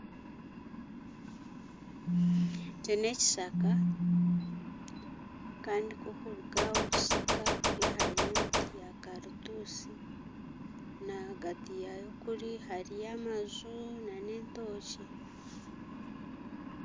Eki n'ekishaka kandi ku orikuruga aha omu kishaka kuriya hariyo emiti ya karutusi nahagati yaayo kuri hariyo amaju nana entookye